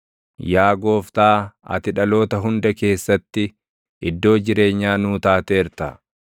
Yaa Gooftaa, ati dhaloota hunda keessatti iddoo jireenyaa nuu taateerta.